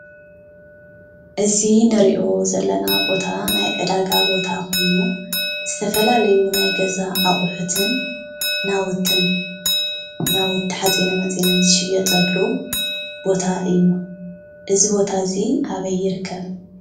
እዚ ንሪኦ ዘለና ቦታ ናይ ዕዳጋ ቦታ ኮይኑ ዝተፈላለዩ ናይ ገዛ አቁሕትን ናውቲ ሓፂነ መፂንን ዝሽየጠሉ ቦታ እዩ፡፡ እዚ ቦታ እዚ አበይ ይርከብ?